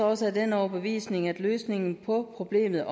også af den overbevisning at løsningen på problemet